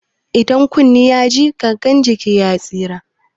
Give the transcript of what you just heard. Idan kunne ya ji, gangan jiki ya tsira.